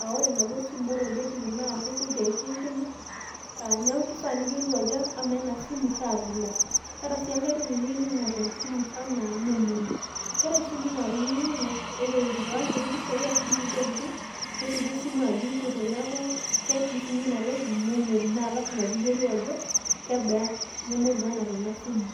Aa ore enaduo simu ore olbetiri naa kesioki aishu enkima. Niaku keifaa niyiolou ajo amaa ena simu naa kaabila. Keetae sii enkae toki niyieu ning`orr te simu enaa memory . Keetae isimui naa tenijiang`u ore itipika nkuti pishai ashu nkutik tokitin nesioki esimu ajo eipute. Niaku keji sii ninye ina toki memory naa lazima pee iyiolou ajo kebaa memory nanap ena simu.